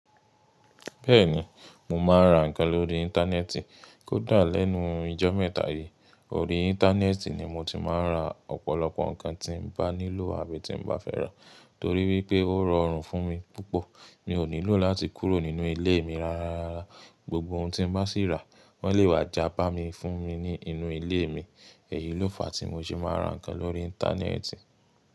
Bẹ́ẹ̀ni, mo máa ń ra nǹkan lórí Íńtánẹ́ẹ̀tì. Kódà lẹ́nu ijọ́ mẹ́ta yìí, orí Íńtánẹ́ẹ̀tì ni mo ti máa ń ra ọ̀pọ̀lọpọ̀ nǹkan tí mo bá nílò àbí tí mo bá fẹ́ rà torí wípé ó rọrùn fún mi púpọ̀. Mi ò nílò láti kúrò nínú ilé mi rara rárá. Gbogbo ohun tí mo bá sì rá, wọ́n lè wá já bá mi fún mi ní inú ilé mi. Èyí ló fa tí mo ṣe máa ń ra nǹkan lórí Íńtánẹ́ẹ̀tì.